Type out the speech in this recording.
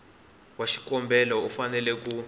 wa xikombelo u fanele ku